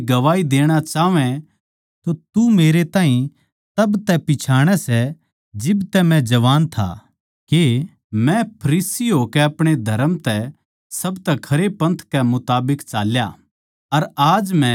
जै वे गवाही देणा चाहवैं तो तू मेरै ताहीं तब तै पिच्छाणै सै जिब मै जवान था के मै फरीसी होकै अपणे धरम कै सबतै खरे पन्थ कै मुताबिक चाल्या